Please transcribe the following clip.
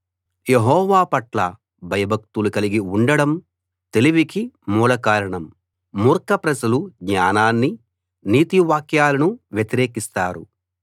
యెహోవాపట్ల భయభక్తులు కలిగి ఉండడం తెలివికి మూలకారణం మూర్ఖప్రజలు జ్ఞానాన్ని నీతి వాక్యాలను వ్యతిరేకిస్తారు